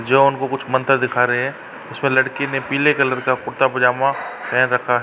जो उनको कुछ मंतर दिखा रहे हैं। उसमें लड़के ने पीले कलर का कुर्ता-पजामा पहन रखा है।